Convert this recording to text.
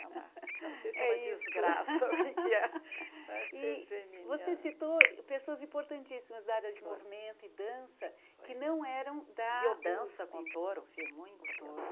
Não sei se é uma desgraça ou o que é. Você citou pessoas importantíssimas da área de movimento e dança que não eram da... Biodança com touro, fiz muita biodança.